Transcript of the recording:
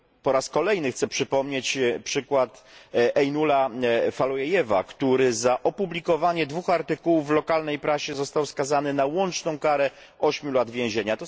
Po raz kolejny chciałbym przypomnieć przykład Ejnula Fatullajewa, który za opublikowanie dwóch artykułów w lokalnej prasie został skazany na łączną karę ośmiu lat więzienia.